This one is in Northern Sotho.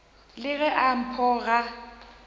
le ge a pho ga